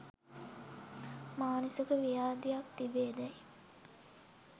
මානසික ව්‍යාධියක් තිබේදැයි